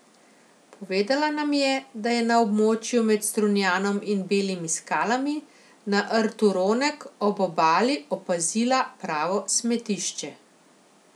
Povedala nam je, da je na območju med Strunjanom in Belimi skalami, na Rtu Ronek, ob obali opazila pravo smetišče.